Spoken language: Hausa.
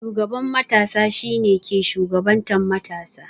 Shugaban matasa shi ne ke shugabantan matasa.